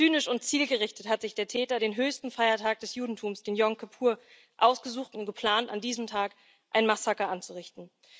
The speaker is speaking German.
Zynisch und zielgerichtet hat sich der Täter den höchsten Feiertag des Judentums, Jom Kippur, ausgesucht und geplant, an diesem Tag ein Massaker anzurichten.